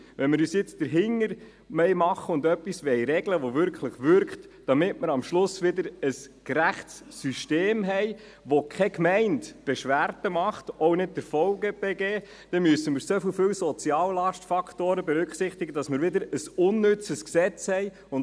Wenn wir uns jetzt dahinterklemmen und etwas regeln, das wirklich wirkt, damit wir am Schluss wieder ein gerechtes System haben, in dem keine Gemeinde Beschwerden macht, auch nicht der VBG, dann müssen wir so viele Soziallast-Faktoren berücksichtigen, damit wir wieder ein unnützes Gesetz haben.